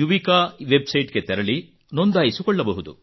Yuvika website ಗೆ ತೆರಳಿ ನೊಂದಾಯಿಸಿಕೊಳ್ಳಬಹುದು